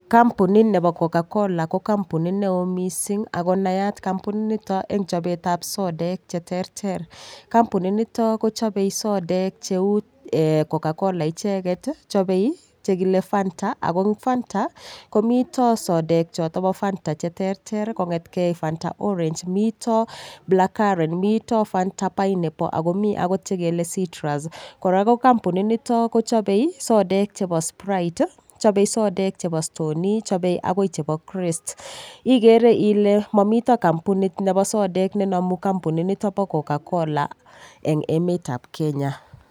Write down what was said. Kampunit nebo coca-cola ko kampunit neo mising' ako nay kampunitnito eng' chobetab sodek cheterter kampunit nito kochobei sodek cheu coca-cola icheget chobei chekile Fanta ako eng' fanta komoto sodek choto bo Fanta cheterter kong'etgei fanta orange moto blackcurrant fanta pineapple ako mi akot chegele citrus kora lo kampunit nito kochobei sodek chebo sprite chobei sodek chebo stoney chobei akoi chebo krest igere ile mamito kampunit nebo sodek nenomu kampunit nito bo coca-cola eng' emetab Kenya